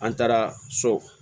An taara so